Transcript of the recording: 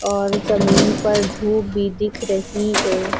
और जमीन पर धूप भी दिख रही है।